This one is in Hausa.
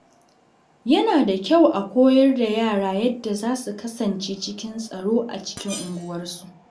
Yana da kyau a koyar da yara yadda za su kasance cikin tsaro a cikin unguwarsu.